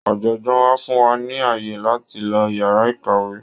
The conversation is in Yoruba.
Ọ̀jọ̀gbọ́ wa fún wa ní ààyè láti lo yàrá ìkàwé.